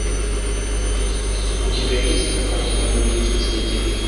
у тебя есть кинокартина люди икс последняя битва